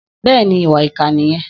Bẹ́ẹ̀ni, ìwà ìkà nìyẹn